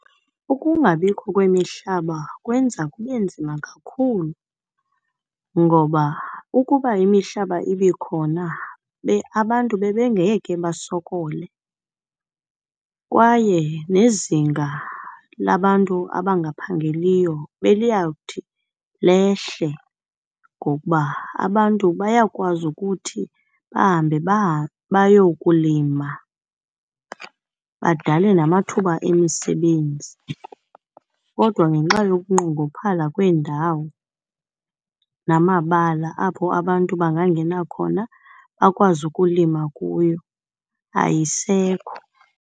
Ukungabikho kwemihlaba kwenza kube nzima kakhulu ngoba ukuba imihlaba ibikhona abantu bebengeke basokole kwaye nezinga labantu abangaphangeliyo beliyawuthi lehle ngokuba abantu bayakwazi ukuthi bahambe bayokulima, badale namathuba emisebenzi. Kodwa ngenxa yokunqongophala kweendawo namabala apho abantu bangangena khona bakwazi ukulima kuyo ayisekho.